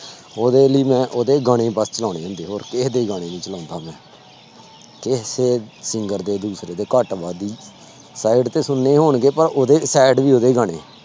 ਉਹਦੇ ਲਈ ਮੈਂ ਉਹਦੇ ਗਾਣੇ ਵੱਧ ਚਲਾਉਣੇ ਹੁੰਦੇ ਹੋਰ ਕਿਸੇ ਦੇ ਗਾਣੇ ਨੀ ਚਲਾਉਂਦਾ ਮੈਂ ਕਿਸੇ singer ਦੇ ਦੂਸਰੇ ਦੇ ਘੱਟ ਵਾਧੂ sad ਤੇ ਸੁਣਨੇ ਹੋਣਗੇ ਪਰ ਉਹਦੇ sad ਵੀ ਉਹਦੇ ਗਾਣੇ।